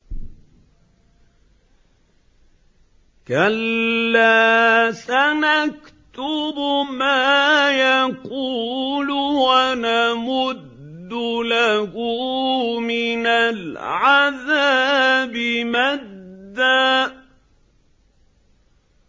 كَلَّا ۚ سَنَكْتُبُ مَا يَقُولُ وَنَمُدُّ لَهُ مِنَ الْعَذَابِ مَدًّا